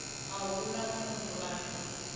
a hu na muthu ane